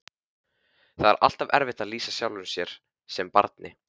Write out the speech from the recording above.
Það er alltaf erfitt að lýsa sjálfum sér sem barni.